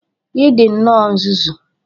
Ị dị nnọọ nzuzu!